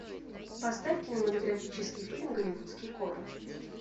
поставь кинематографический фильм голливудские копы